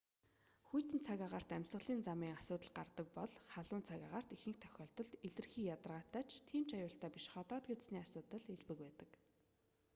хүйтэн цаг агаарт амьсгалын замын асуудал гардаг бол халуун цаг агаарт ихэнх тохиолдолд илэрхий ядаргаатай ч тийм ч аюултай биш ходоод гэдэсний асуудал элбэг байдаг